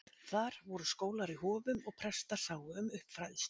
Þar voru skólar í hofum og prestar sáu um uppfræðslu.